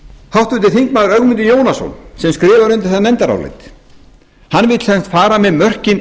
háttvirtur þingmaður ögmundur jónasson sem skrifar undir það nefndarálitið vill sem sagt fara með mörkin